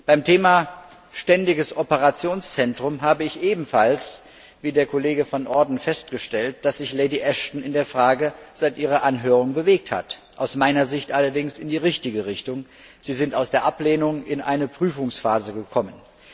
Beim Thema Ständiges Operationszentrum habe ich wie der Kollege Van Orden festgestellt, dass sich Lady Ashton bei dieser Frage seit ihrer Anhörung bewegt hat, aus meiner Sicht allerdings in die richtige Richtung. Sie sind aus der Ablehnung in eine Prüfungsphase gekommen.